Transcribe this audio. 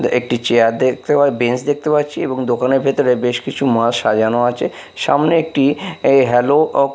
একটি চেয়ার দেখতে বা বেঞ্চ দেখতে পারছি এবং দোকানের ভেতরে বেশ কিছু মাল সাজানো আছে সামনে একটি এই হ্যালো --